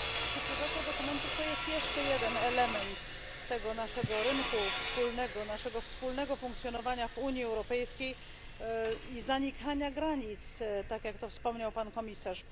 Cyfryzacja dokumentów to jest jeszcze jeden element tego naszego rynku wspólnego, naszego wspólnego funkcjonowania w Unii Europejskiej i zanikania granic tak jak to wspomniał pan komisarz.